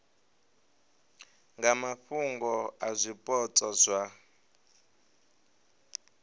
nga mafhungo a zwipotso zwa